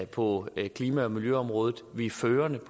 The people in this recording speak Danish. på klima og miljøområdet vi er førende